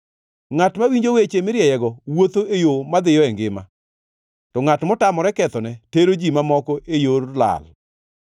Ngʼat mawinjo weche mirieyego wuotho e yo madhiyo e ngima, to ngʼat motamore kethone tero ji mamoko e yor lal.